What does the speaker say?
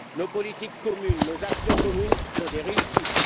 Nos politiques et nos actions communes sont des réussites.